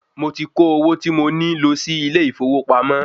Mo ti kó owó tí mo ní lo sí ilè ìfowópamọ́